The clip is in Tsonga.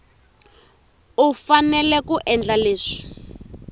u fanele ku endla leswi